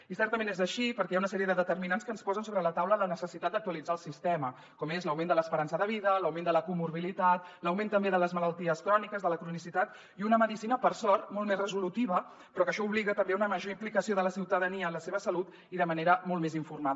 i certament és així perquè hi ha una sèrie de determinants que ens posen sobre la taula la necessitat d’actua litzar el sistema com l’augment de l’esperança de vida l’augment de la morbiditat l’augment també de les malalties cròniques de la cronicitat i una medicina per sort molt més resolutiva però això obliga també a una major implicació de la ciutadania en la seva salut i de manera molt més informada